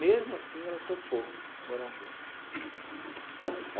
Mesmo assim, ela topou morar junto.